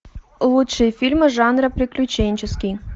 лучшие фильмы жанра приключенческий